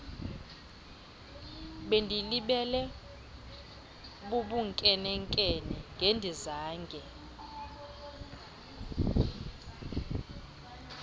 bendilibele bubunkenenkene ngendingazange